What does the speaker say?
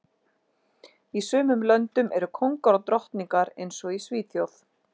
Í sumum löndum eru kóngar og drottningar eins og í Svíþjóð